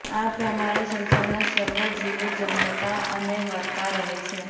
આ પ્રમાણે સંસારના સર્વ જીવો જન્મતા અને મરતા રહે છે